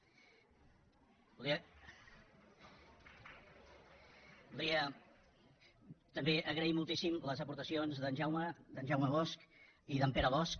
voldria també agrair moltíssim les aportacions d’en jaume bosch i d’en pere bosch